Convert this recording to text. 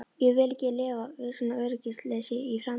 Ég vil ekki lifa við svona öryggisleysi í framtíðinni.